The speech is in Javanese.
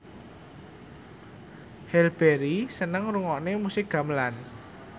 Halle Berry seneng ngrungokne musik gamelan